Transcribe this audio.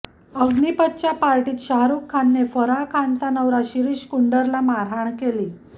अग्निपथच्या पार्टीत शाहरुख खाने फराह खानचा नवरा शिरीष कुंडरला मारहाण केली